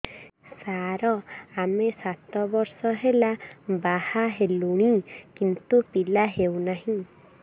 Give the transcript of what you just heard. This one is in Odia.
ସାର ଆମେ ସାତ ବର୍ଷ ହେଲା ବାହା ହେଲୁଣି କିନ୍ତୁ ପିଲା ହେଉନାହିଁ